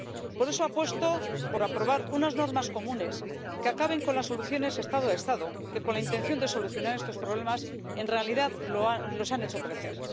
Por eso apuesto por aprobar unas normas comunes que acaben con las soluciones Estado a Estado que, con la intención de solucionar estos problemas, en realidad los han hecho crecer.